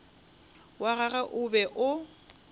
wa gagwe o be o